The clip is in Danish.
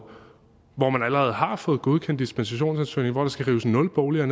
hvor man allerede har fået godkendt dispensationsansøgningen og skal rives nul boliger